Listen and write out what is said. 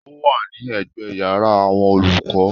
Ó wà ní ẹ̀gbẹ́ yàrá àwọn olùkọ́.